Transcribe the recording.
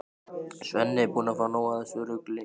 Svenni er búinn að fá nóg af þessu rugli.